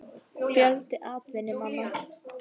Fjöldi atvinnumanna?